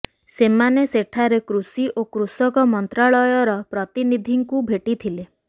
ସେମାନେ ସେଠାରେ କୃଷି ଓ କୃଷକ ମନ୍ତ୍ରାଳୟର ପ୍ରତିନିଧିଙ୍କୁ ଭେଟିଥିଲେ